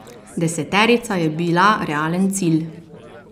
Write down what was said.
Deseterica je bila realen cilj.